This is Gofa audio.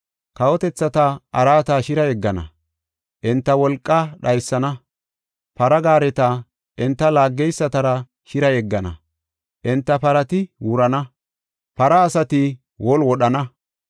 Kawotethata araata shira yeggana; enta wolqaa dhaysana. Para gaareta enta laaggeysatara shira yeggana; enta parati wurana; para asati wolu wodhana.